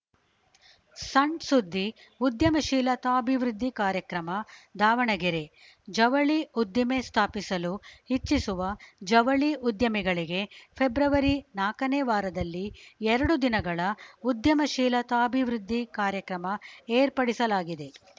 ಸಣ್‌ ಸುದ್ದಿ ಉದ್ಯಮಶೀಲತಾಭಿವೃದ್ಧಿ ಕಾರ್ಯಕ್ರಮ ದಾವಣಗೆರೆ ಜವಳಿ ಉದ್ದಿಮೆ ಸ್ಥಾಪಿಸಲು ಇಚ್ಛಿಸುವ ಜವಳಿ ಉದ್ಯಮಿಗಳಿಗೆ ಫೆಬ್ರವರಿ ನಾಕನೇ ವಾರದಲ್ಲಿ ಎರಡು ದಿನಗಳ ಉದ್ಯಮಶೀಲತಾಭಿವೃದ್ಧಿ ಕಾರ್ಯಕ್ರಮ ಏರ್ಪಡಿಸಲಾಗಿದೆ